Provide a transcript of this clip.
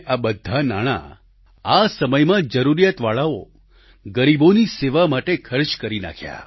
આ બધા નાણાં આ સમયમાં જરૂરિયાતવાળાઓ ગરીબોની સેવા માટે ખર્ચ કરી નાખ્યા